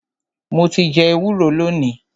Mo ti jẹ ẹwúro lónìí.